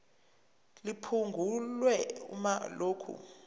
liphungulwe uma lokhu